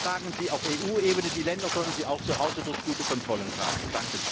Wir tragen sie auf EU Ebene, die Länder sollen sie auch zuhause durch gute Kontrollen tragen.